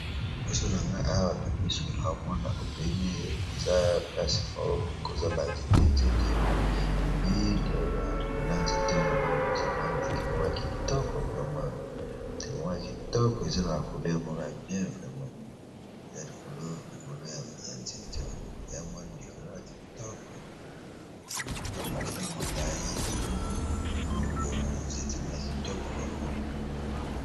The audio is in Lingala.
Liboso na nga awa na miso naomona obele naza place moko ekoza ba nzete nzete epui likolo ya nzete wana namoni koza mwa ndeke moko ya kitoko eza na ba coleur moko ya bien vreme, likolo ya mwa ndeke moka kitoko eza mokila molai mutu moko boye ndeke moko ya kitoko vrema.